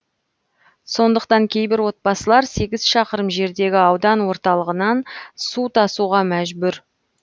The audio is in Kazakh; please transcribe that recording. сондықтан кейбір отбасылар сегіз шақырым жердегі аудан орталығынан су тасуға мәжбүр